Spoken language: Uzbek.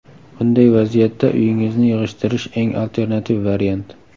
Bunday vaziyatda uyingizni yig‘ishtirish eng alternativ variant.